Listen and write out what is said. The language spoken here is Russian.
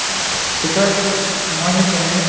такая короче маленькая не